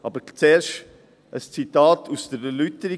Aber zuerst ein Zitat aus der Erläuterung.